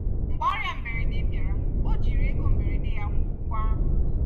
mgbe ọrịa mberede bịara ọ jiri ego mberede ya kwụọ ụgwọ ahụ.